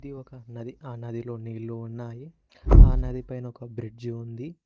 ఇది ఒక నది ఆ నదిలో నీళ్లు ఉన్నాయి ఆ నదిపైన ఒక బ్రిడ్జి ఉంది.